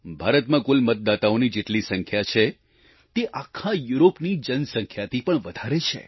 ભારતમાં કુલ મતદાતાઓની જેટલી સંખ્યા છે તે આખા યુરોપની જનસંખ્યાથી પણ વધારે છે